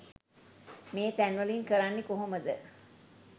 මේ තැන්වලින් කරන්නේ කොහොමද?